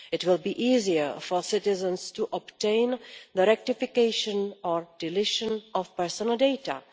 It will be easier for citizens to obtain the rectification or deletion of personal data.